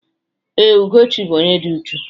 Ee, Ugochi bụ onye dị ụchụ̀.